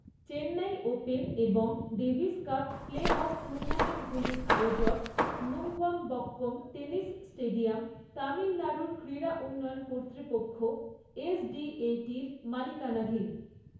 Chennai open এবং Davis cup play off টুর্নামেণ্টগুলির আয়োজক, নুঙ্গমবক্কম টেনিস স্টেডিয়াম, তামিলনাড়ুর ক্রীড়া উন্নয়ন কর্তৃপক্ষ, এসডিএটির মালিকানাধীন।